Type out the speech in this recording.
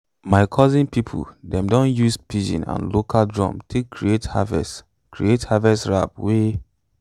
my cousin people dem don use pidgin and local drums take create harvest create harvest rap wey